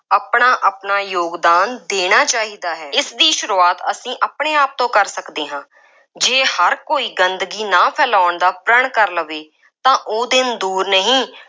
ਆਪਣਾ ਆਪਣਾ ਯੋਗਦਾਨ ਦੇਣਾ ਚਾਹੀਦਾ ਹੈ। ਇਸ ਦੀ ਸ਼ੁਰੂਆਤ ਅਸੀਂ ਆਪਣੇ ਆਪ ਤੋਂ ਕਰ ਸਕਦੇ ਹਾਂ। ਜੇ ਹਰ ਕੋਈ ਗੰਦਗੀ ਨਾ ਫੈਲਾਉਣ ਦਾ ਪ੍ਰਣ ਕਰ ਲਵੇ, ਤਾਂ ਉਹ ਦਿਨ ਦੂਰ ਨਹੀਂ,